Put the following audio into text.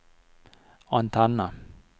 antenne